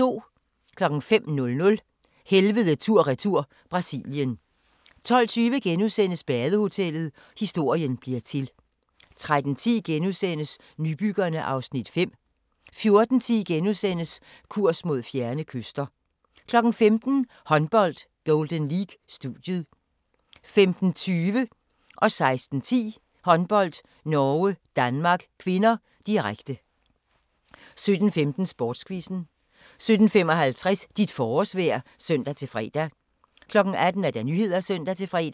05:00: Helvede tur/retur - Brasilien 12:20: Badehotellet – historien bliver til * 13:10: Nybyggerne (Afs. 5)* 14:10: Kurs mod fjerne kyster * 15:00: Håndbold: Golden League - studiet 15:20: Håndbold: Norge-Danmark (k), direkte 16:10: Håndbold: Norge-Danmark (k), direkte 17:15: Sportsquizzen 17:55: Dit forårsvejr (søn-fre) 18:00: Nyhederne (søn-fre)